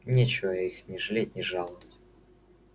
нечего их ни жалеть ни жаловать